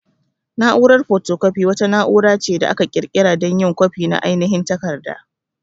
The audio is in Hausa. Na'urar photocopy wata na'ura ce da aka ƙirƙira dan yin kwafi na ainihin takarda.